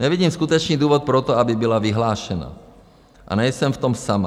Nevidím skutečný důvod pro to, aby byla vyhlášena, a nejsem v tom sama.